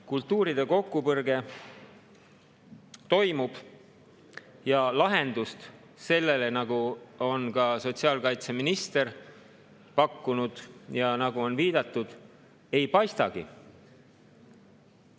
Kultuuride kokkupõrge toimub ja lahendust sellele, nagu on ka sotsiaalkaitseminister pakkunud ja nagu on viidatud, ei paistagi.